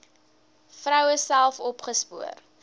vroue self opgespoor